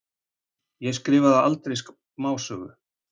Ég skrifaði aldrei smásögu.